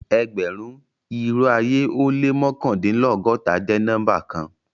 Ẹgbẹ̀run, irò ayé o lẹ́ mọkandinlọgọ́ta jẹ́ nọ́mbà kàn.